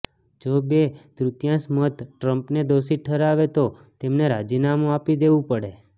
જો બે તૃતીયાંશ મત ટ્રમ્પને દોષિત ઠરાવે તો તેમને રાજીનામું આપી દેવું પડે